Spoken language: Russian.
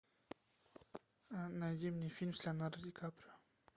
найди мне фильм с леонардо ди каприо